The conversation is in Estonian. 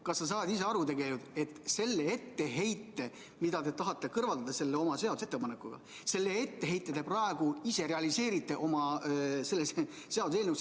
Kas sa saad ise aru, et selle puuduse, mida te tahate oma seaduseelnõuga kõrvaldada, te praegu ise oma seaduseelnõuga realiseerite?